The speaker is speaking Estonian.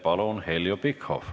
Palun, Heljo Pikhof!